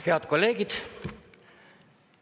Head kolleegid!